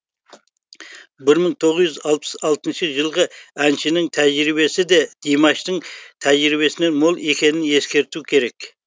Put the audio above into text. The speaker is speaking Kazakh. бір мың тоғыз жүз алпыс алтыншы жылғы әншінің тәжірибесі де димаштың тәжірибесінен мол екенін ескерту керек